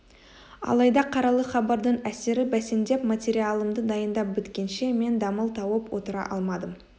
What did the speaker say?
алайда қаралы хабардың әсері бәсеңдеп материалымды дайындап біткенше мен дамыл тауып отыра алмадым